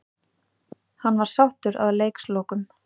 Hann var sáttur að leikslokum.